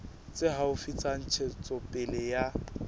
tse haufi tsa ntshetsopele ya